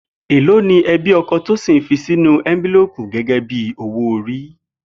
Èló ni e̩bí o̩ko̩ Tósìn fi sínú é̩ńbílóòkù gé̩gé̩ bí owó ori?